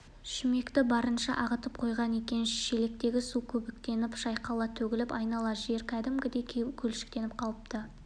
шүмекті барынша ағытып қойған екен шелектегі су көбіктеніп шайқала төгіліп айнала жер кәдімгідей көлшіктеніп қалыпты